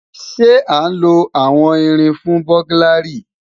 Ṣe a nlo awọn irin fun buglary?